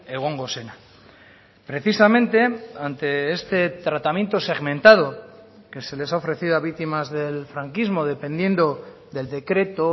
egongo zena precisamente ante este tratamiento segmentado que se les ha ofrecido a víctimas del franquismo dependiendo del decreto